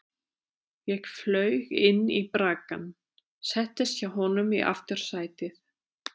Ég flaug inn í braggann, settist hjá honum í aftursætið.